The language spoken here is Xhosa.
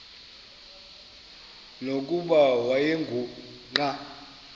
nokuba wayengu nqal